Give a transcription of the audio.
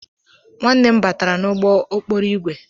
Nwanne m batara n'ụgbọ okporo ígwè.